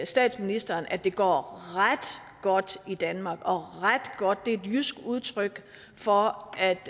statsministeren at det går ret godt i danmark og ret godt er et jysk udtryk for at